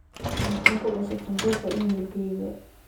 maxaa ku cusub sanduuqa iimaylkayga